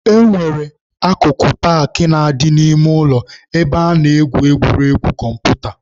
E nwere akụkụ paakị na-adị n'ime ụlọ ebe a na-egwu egwuregwu kọmputa.